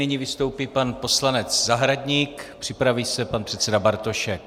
Nyní vystoupí pan poslanec Zahradník, připraví se pan předseda Bartošek.